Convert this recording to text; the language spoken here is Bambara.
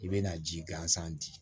I bɛna ji gansan di